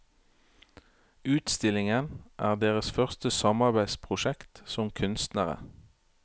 Utstillingen er deres første samarbeidsprosjekt som kunstnere.